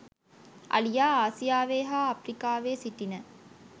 අලියා ආසියාවේ හා අප්‍රිකාවේ සිටින